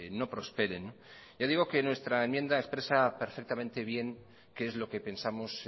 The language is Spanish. no prosperen ya digo que nuestra enmienda expresa perfectamente bien qué es lo que pensamos